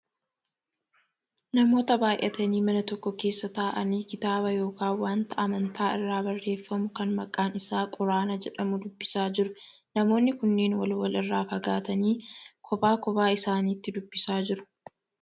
Namoota baayyatanii mana tokko keessa taa'anii kitaaba yookaan wanta amantaa irraa barreefamu kan maqaan isaa quraana jedhamu dubbisaa jiru. Namoonni kunneen wal wal irraa fagaatanii kophaa kophaa isaaniitti dubbisaa jiru.